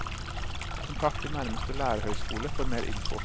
Kontakt din nærmeste lærerhøyskole for mer info.